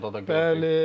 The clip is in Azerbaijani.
Maşın Fontoda da gördük.